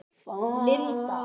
Linda